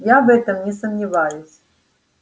я в этом не сомневаюсь